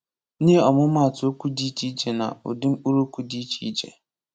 Nye ọmụmatụ okwu dị iche iche na ụdị mkpụrụokwu dị iche iche